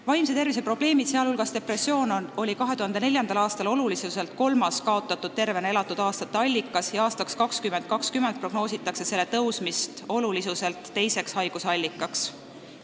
Vaimse tervise probleemid, sh depressioon, olid 2004. aastal olulisuselt kolmas kaotatud tervena elatud aastate põhjus ja aastaks 2020 prognoositakse selle tõusmist olulisuselt teiseks põhjuseks.